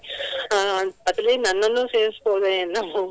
ಅಹ್ ಅದರಲ್ಲಿ ನನ್ನನ್ನೂ ಸೇರಿಸ್ಬಹುದೋ ಏನೋ.